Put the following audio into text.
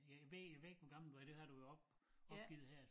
Jeg ved ved ikke hvor gammel du er det har du op opgivet her